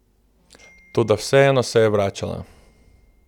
Toda vseeno se je vračala.